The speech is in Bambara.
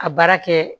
A baara kɛ